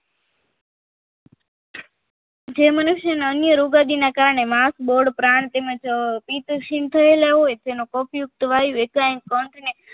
જે મનુષ્યના અન્ય રોગદીના કારણે માસ બોર્ડ પ્રાણ તેમજ પિતંશીલ થયેલા હોય તેવા વાયુ યુક્ત એક કંઠની